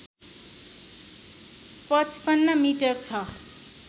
५५ metre छ